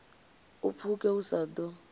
u pfuke u sa ḓo